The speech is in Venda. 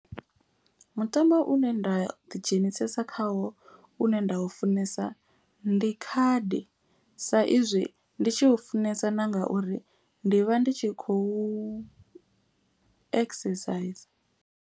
Mutambo une nda ḓidzhenisa khawo une nda u funesa. Ndi khadi sa izwi ndi tshi u funesa na ngauri ndi vha ndi tshi khou exerciser.